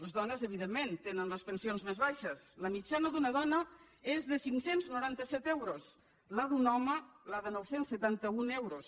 les dones evidentment tenen les pensions més baixes la mitjana d’una dona és de cinc cents i noranta set euros la d’un home de nou cents i setanta un euros